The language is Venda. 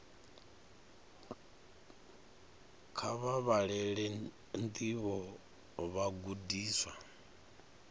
kha vha vhalele ndivho vhagudiswa